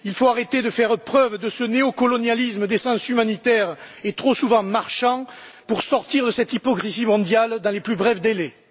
Il faut arrêter de faire preuve de ce néocolonialisme d'essence humanitaire et trop souvent marchand pour sortir de cette hypocrisie mondiale dans les plus brefs délais.